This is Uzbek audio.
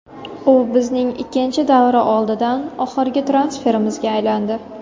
U bizning ikkinchi davra oldidan oxirgi transferimizga aylandi.